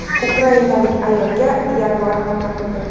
Ukrainalik ayolga yaguar hamla qildi.